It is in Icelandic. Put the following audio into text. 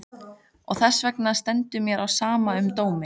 Og þessvegna stendur mér á sama um dóminn.